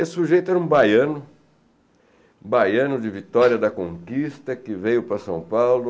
Esse sujeito era um baiano, baiano de Vitória da Conquista, que veio para São Paulo